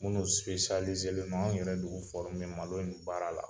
Minnu , anw yɛrɛ de y'u malo in baara la.